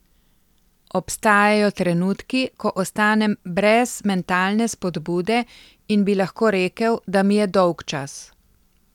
Obstajajo trenutki, ko ostanem brez mentalne spodbude in bi lahko rekel, da mi je dolgčas.